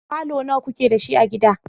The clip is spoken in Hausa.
falo nawa ku ke da shi a gida?